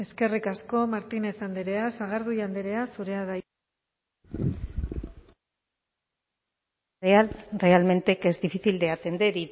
eskerrik asko martínez andrea sagardui andrea zurea da hitza realmente que es difícil de atender